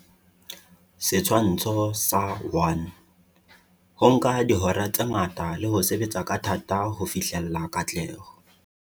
Setshwantsho sa 1. Ho nka dihora tse ngata le ho sebetsa ka thata ho fihlella katleho.